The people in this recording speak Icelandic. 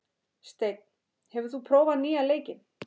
Steinn, hefur þú prófað nýja leikinn?